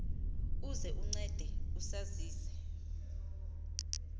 uze uncede usazise